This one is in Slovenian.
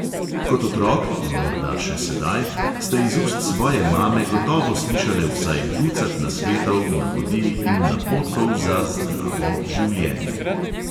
Kot otrok (in morda še sedaj) ste iz ust svoje mame gotovo slišale vsaj ducat nasvetov, navodil in napotkov za življenje.